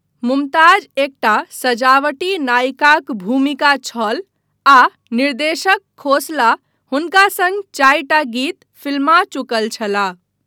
मुमताज एकटा सजावटी नायिकाक भूमिका छल आ निर्देशक खोसला हुनका सङ्ग चारिटा गीत फिल्मा चुकल छलाह।